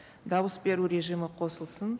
дауыс беру режимі қосылсын